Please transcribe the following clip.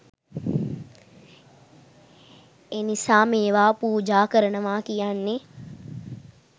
"එනිසා මේවා පූජා කරනවා කියන්නේ